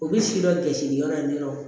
U bɛ si dɔ kɛsiyɔrɔ in na